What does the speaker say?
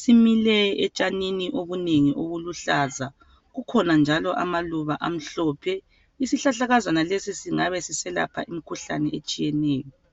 Simile etshanini obunengi obuluhlaza. Kukhona njalo amaluba amhlophe. Isihlahlakazana lesi singabe siselapha imikhuhlane etshiyeneyo.